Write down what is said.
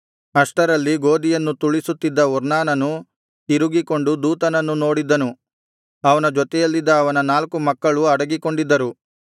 ಅಷ್ಟರಲ್ಲಿ ಗೋದಿಯನ್ನು ತುಳಿಸುತ್ತಿದ್ದ ಒರ್ನಾನನು ತಿರುಗಿಕೊಂಡು ದೂತನನ್ನು ನೋಡಿದ್ದನು ಅವನ ಜೊತೆಯಲ್ಲಿದ್ದ ಅವನ ನಾಲ್ಕು ಮಕ್ಕಳು ಅಡಗಿಕೊಂಡಿದ್ದರು